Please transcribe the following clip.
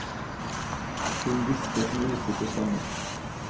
Hun hvisket med usikker stemme.